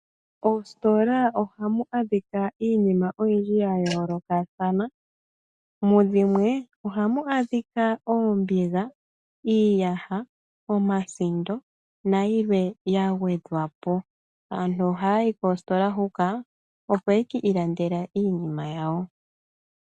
Ositola ohamu adhika iinima oyindji ya yoolokathana, mudhimwe ohamu adhika oombiga, iiyaha, omasindo nayilwe yagwedhwa po. Aantu ohaya yi koositola huka opo ye ki ilandele iinima yawo.